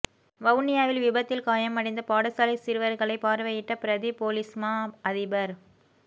வவுனியாவில் விபத்தில் காயமடைந்த பாடசாலை சிறுவர்களை பார்வையிட்ட பிரதி பொலிஸ்மா அதிபர்